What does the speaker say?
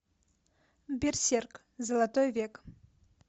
берсерк золотой век